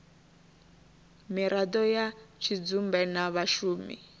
miraḓo ya tshidzumbe na vhashumi